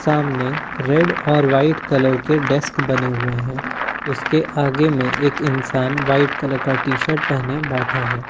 सामने रेड और white colour के डेस्क बने हुए हैं उसके आगे में एक इंसान व्हाइट कलर का टी_शर्ट पहने बैठा है।